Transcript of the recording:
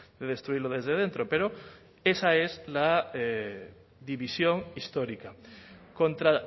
de destruirlo desde dentro pero esa es la división histórica contra